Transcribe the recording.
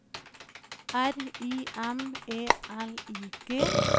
R I M E L I G